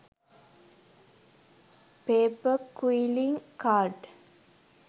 paper quilling card